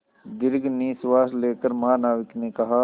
दीर्घ निश्वास लेकर महानाविक ने कहा